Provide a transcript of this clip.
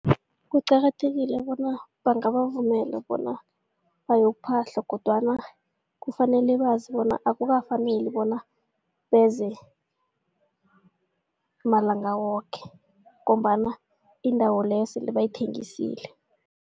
Kuqakathekile bona bangavumela bona bayokuphahla kodwana kufanele bazi bona akukafaneli bona beze malanga woke ngombana indawo leyo sele bayithengisile.